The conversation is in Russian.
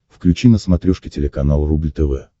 включи на смотрешке телеканал рубль тв